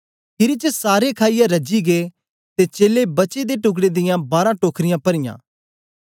खीरी च सारे खाईयै रजी गै ते चेलें बचे दे टुकड़े दियां बारां टोखरियां परीयां